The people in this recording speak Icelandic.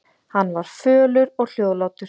Hann var fölur og hljóðlátur.